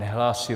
Nehlásí.